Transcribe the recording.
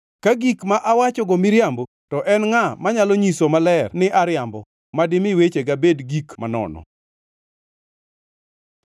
“Ka gik ma awachogo miriambo, to en ngʼa manyalo nyiso maler ni ariambo, ma dimi wechega bed gik manono?”